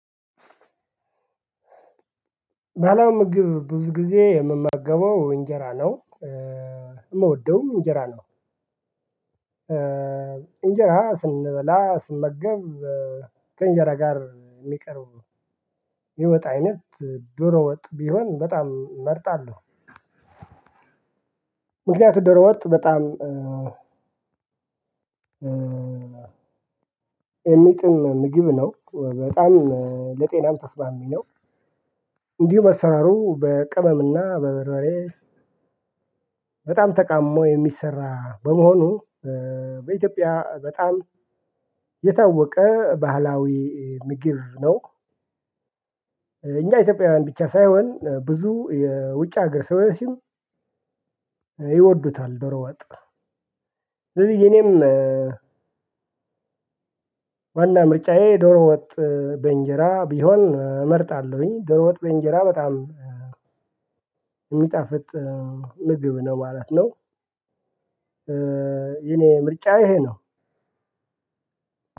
ባለምግብ ብዙ ጊዜ የምመገበው እንጀራ ነው የምወደውም እንጀራ ነው። እንጀራ ስንበላ ስንመገብ ከእንጀራ ጋር የሚቀርብ ነው የሚወጣ አይነት ዶሮ ወጥ ቢሆን በጣም መርጣለሁ። ምክንያቱም ዶሮ ወጥ በጣም ኤሚጥም ምግብ ነው በጣም ለጤናም ተስማሚ ነው። እንዲሁ አሰራሩ በቅመም እና በበርበሬ በጣም ተቀምሞ የሚሰራ በመሆኑ በኢትዮጵያ በጣም የታወቀ ባህላዊ ምግብ ነው። እኛ ኢትዮጵያውያን ብቻ ሳይሆን ብዙ የውጭ ሀገር ሰው ያለው ሰዎችም ይወዱታል ዶቶ ወጥ። ስለዚህ እኔም ዋና ምርጫዬ ዶሮ ወጥ በእንጀራ ቢሆን እመርጣለሁኝ ዶሮ ወጥ በእንጀራ በጣም የሚጣፍጥ ምግብ ነው ማለት ነው። የኔ ምርጫ ይሄ ነው።